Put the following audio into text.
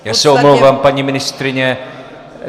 Já se omlouvám, paní ministryně.